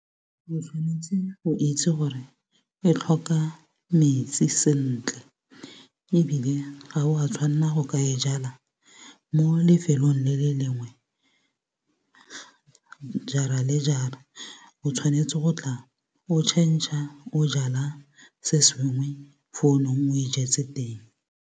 O tshwanetse go itse gore e tlhoka metsi sentle. Ebile ga wa tshwanela go ka e jala mo lefelong le le lengwe, jara le jara. O tshwanetse go tla o changer, o jala se sengwe fo o neng o e jetse teng.